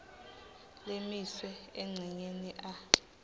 lemiswe encenyeni a